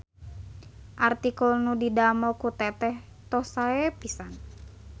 Artikel nu didamel ku teteh tos sae pisan.